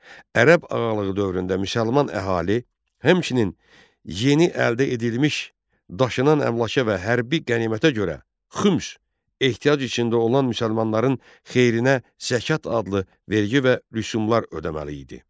Ərəb ağalığı dövründə müsəlman əhali, həmçinin yeni əldə edilmiş daşınan əmlaka və hərbi qənimətə görə xüms, ehtiyac içində olan müsəlmanların xeyrinə zəkat adlı vergi və rüsumlar ödəməli idi.